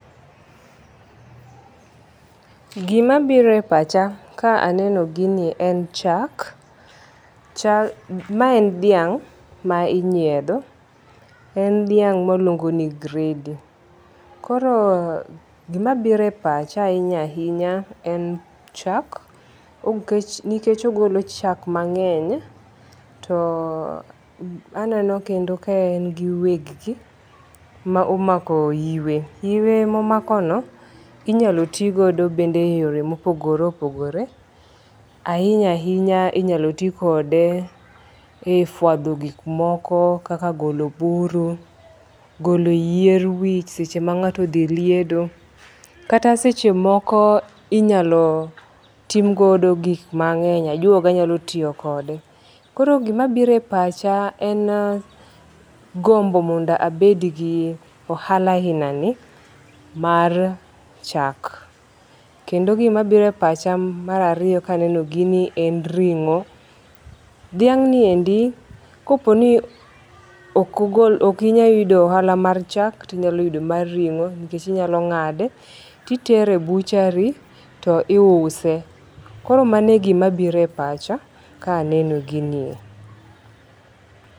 Gima biro e pacha ka aneno gini en chak. Chak ma en dhiang' ma inyiedho. En dhiang miluongo ni gredi. Koro gima biro e pacha hinya ahinya en chak. Nikech ogolo chak mang'eny. To aneno kendo ka en gi weg gi ma omako iwe. Iwe momako inyalo ti go e yore mopogore opogore, Ahinya ahinya inyalo ti kode e fwadho gik moko kaka golo buru. Golo yier wich seche ma ng'ato odhi liedo. Kata seche moko inyalo timgodo gik mang'eny. Ajuoga nyalo tiyo kode. Koro gima biro e pacha en gombo mondo abed gi ohala aina ni mar chak. Kendo gima biro e pacha mar ariyo ka aneno gini en ring'o. Dhiang' ni endi kopo ni ok ogol ok inyayudo ohala mar chak, to inyalo yudo mar ring'o nikech inyalo ng'ade to itere e butchery to iuse. Kor mano e gima biro e pach ka aneno ginie.